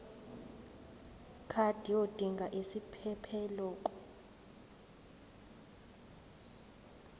card yodinga isiphephelok